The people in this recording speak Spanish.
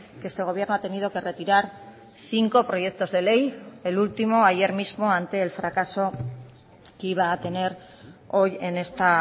que este gobierno ha tenido que retirar cinco proyectos de ley el último ayer mismo ante el fracaso que iba a tener hoy en esta